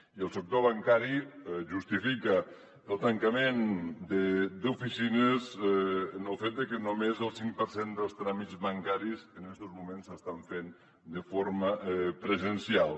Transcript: i el sector bancari justifica el tancament d’oficines en el fet que només el cinc per cent dels tràmits bancaris en estos moments s’estan fent de forma presencial